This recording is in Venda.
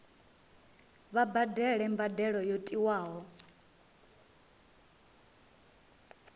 vha badele mbadelo yo tiwaho